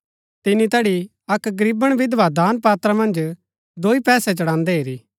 तिनी तैड़ी अक्क गरीबण विधवा दान पात्रा मन्ज दोई पैसै चढ़ान्दै हेरी